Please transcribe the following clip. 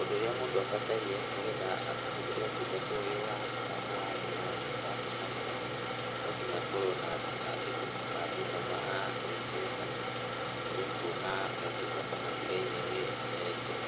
Ũndũ ũrĩa mũndũ abataire nĩ getrha ahũthĩre ũtungata ũyũ wa mũtambo wa thimũ wa Safaricom. No nginya akorwo na thimũ na athiĩ hau ha M-Pesa nĩ ekuona motungata matigaine.